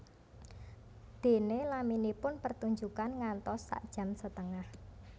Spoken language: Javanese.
Déné laminipun pertunjukan ngantos sak jam setengah